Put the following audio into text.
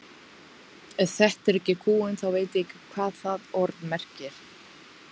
Ef þetta er ekki kúgun þá veit ég ekki hvað það orð merkir.